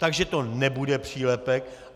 Takže to nebude přílepek.